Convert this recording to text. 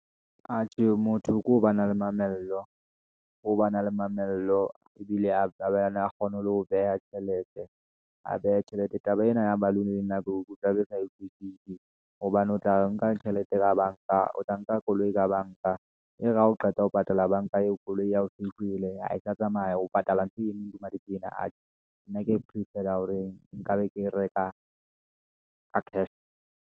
Atjhe motho ko ho ba na le mamello, ho ba na le mamello ebile a ba yona a kgone ho beha tjhelete, a beha tjhelete taba ena ya balloon. Taba e ne ya balloon ke sa e utlwisisi, hobane o tla nka tjhelete ka banka, o tla nka koloi ka banka, e re ha o qeta ho patala banka eo koloi ya ho e lokile ha e tla tsamaya ho patala ntho enngwe malepe ena. Atjhe nna keye prefer-a ya hore nka be ke e reka ka cash.